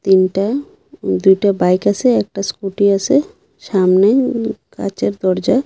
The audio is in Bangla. তিনটা দুইটা বাইক আসে একটা স্কুটি আসে সামনে উম কাঁচের দরজা।